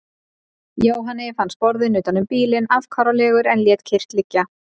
Jóhanni fannst borðinn utan um bílinn afkáralegur en lét kyrrt liggja.